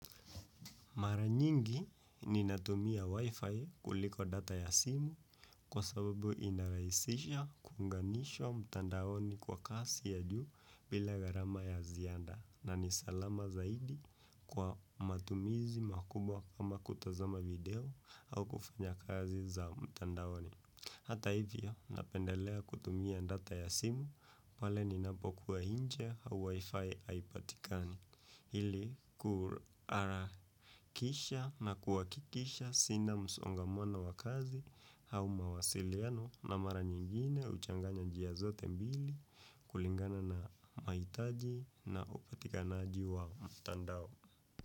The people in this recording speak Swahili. Mara nyingi ninatumia wifi kuliko data ya simu kwa sababu inarahisisha kunganisho mtandaoni kwa kasi ya juu bila garama ya zianda na nisalama zaidi kwa matumizi makubwa kama kutazama video au kufanya kazi za mtandaoni. Hata hivyo, napendelea kutumia data ya simu, pale ninapokuwa nje au wifi haipatikani. Hili kuarakisha na kuwakikisha sina msongamano wa kazi au mawasiliano na mara nyingine uchanganya njia zote mbili kulingana na maitaji na upatikanaji wa mtandao.